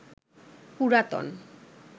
পুরাতন